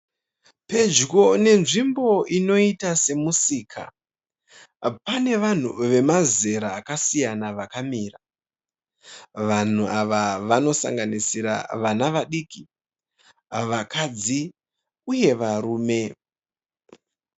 Pedyo nenzvimbo inoita semusika. Pane vanhu vemazera akasiyana vakamira. Vanhu ava vanosanganisira vana vadiki vakadzi uye varume